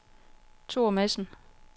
Thor Madsen